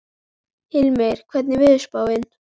Hilmir, hvernig er veðurspáin?